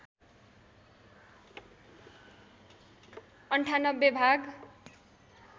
९८ भाग